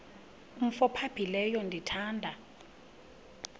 umf ophaphileyo ndithanda